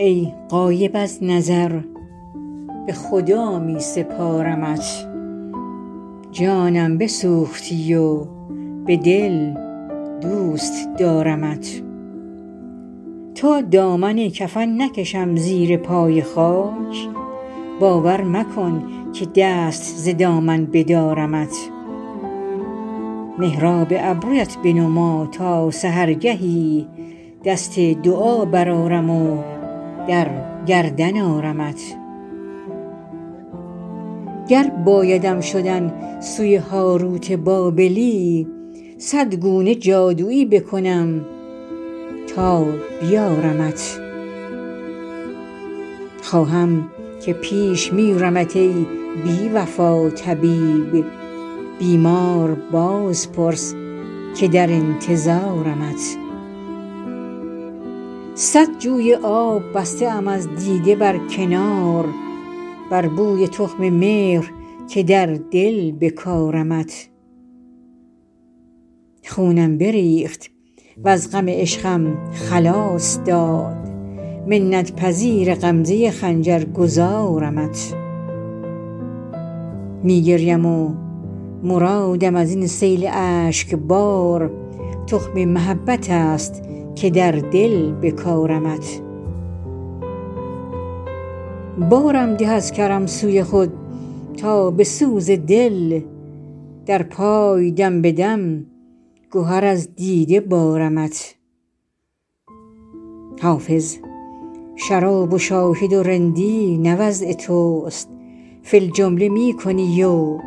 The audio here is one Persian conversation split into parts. ای غایب از نظر به خدا می سپارمت جانم بسوختی و به دل دوست دارمت تا دامن کفن نکشم زیر پای خاک باور مکن که دست ز دامن بدارمت محراب ابرویت بنما تا سحرگهی دست دعا برآرم و در گردن آرمت گر بایدم شدن سوی هاروت بابلی صد گونه جادویی بکنم تا بیارمت خواهم که پیش میرمت ای بی وفا طبیب بیمار باز پرس که در انتظارمت صد جوی آب بسته ام از دیده بر کنار بر بوی تخم مهر که در دل بکارمت خونم بریخت وز غم عشقم خلاص داد منت پذیر غمزه خنجر گذارمت می گریم و مرادم از این سیل اشک بار تخم محبت است که در دل بکارمت بارم ده از کرم سوی خود تا به سوز دل در پای دم به دم گهر از دیده بارمت حافظ شراب و شاهد و رندی نه وضع توست فی الجمله می کنی و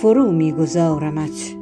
فرو می گذارمت